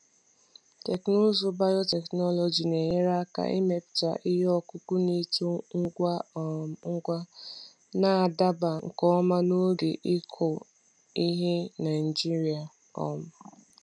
Teknụzụ biotechnology na-enyere aka imepụta ihe ọkụkụ na-eto ngwa um ngwa, na-adaba nke ọma na oge ịkụ ihe Naijiria. um